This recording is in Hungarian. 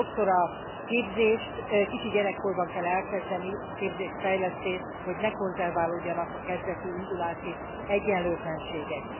Sokszor a képzést kicsi gyerekkorban kell elkezdeni, a képzést fejlesztést, hogy ne konzerválódjanak a kezdeti indulási egyenlőtlenségek.